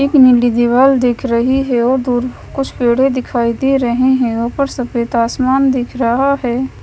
एक नीली दीवाल दिख रही है दूर कुछ पेड़े दिखाई दे रही है ऊपर सफेद आसमान दिख रहा है।